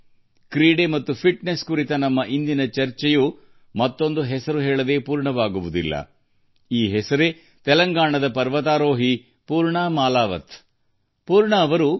ಇಂದು ಕ್ರೀಡೆ ಮತ್ತು ದೈಹಿಕ ಕ್ಷಮತೆಯ ಚರ್ಚೆಯು ಇನ್ನೊಂದು ಹೆಸರಿಲ್ಲದೆ ಸಮಾಪನಗೊಳ್ಳದು ಇದು ತೆಲಂಗಾಣದ ಪರ್ವತಾರೋಹಿ ಪೂರ್ಣಾ ಮಾಲಾವತ್ ಅವರ ಹೆಸರು